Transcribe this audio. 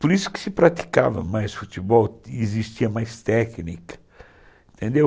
Por isso que se praticava mais futebol, existia mais técnica, entendeu